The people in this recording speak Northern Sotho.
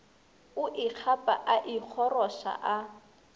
o ikgapa a ikgoroša a